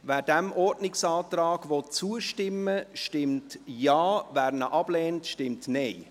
Wer diesem Ordnungsantrag zustimmen will, stimmt Ja, wer diesen ablehnt, stimmt Nein.